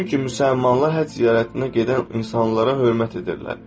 Çünki müsəlmanlar həcc ziyarətinə gedən insanlara hörmət edirlər.